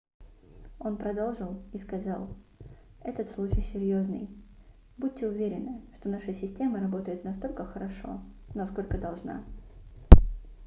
он продолжил и сказал этот случай серьёзный будьте уверены что наша система работает настолько хорошо насколько должна